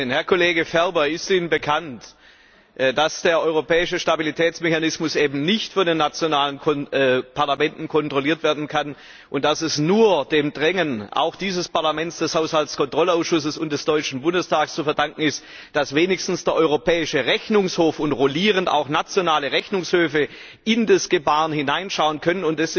Herr Kollege Ferber! Ist Ihnen bekannt, dass der Europäische Stabilitätsmechanismus eben nicht von den nationalen Parlamenten kontrolliert werden kann, und dass es nur dem Drängen auch dieses Parlaments, des Haushaltskontrollausschusses und des Deutschen Bundestags zu verdanken ist, dass wenigstens der Europäische Rechnungshof und rollierend auch nationale Rechnungshöfe in das Gebaren hineinschauen können?